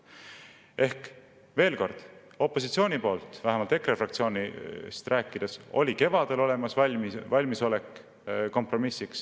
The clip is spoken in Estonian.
Ehk veel kord: opositsioonil, vähemalt EKRE fraktsioonil, oli kevadel olemas valmisolek kompromissiks.